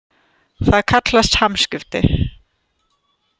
Það kallast hamskipti.